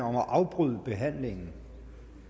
om at afbryde behandlingen